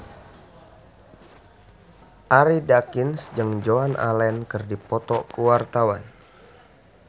Arie Daginks jeung Joan Allen keur dipoto ku wartawan